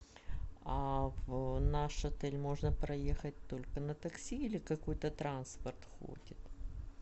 а в наш отель можно проехать только на такси или какой то транспорт ходит